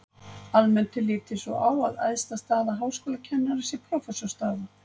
Almennt er litið svo á að æðsta staða háskólakennara sé prófessorsstaða.